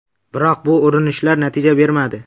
Biroq bu urinishlar natija bermadi.